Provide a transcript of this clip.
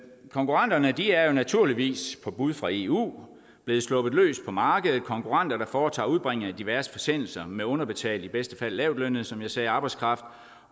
konkurrenterne er jo naturligvis på bud fra eu blevet sluppet løs på markedet konkurrenter der foretager udbringning af diverse forsendelser med underbetalt i bedste fald lavtlønnet som jeg sagde arbejdskraft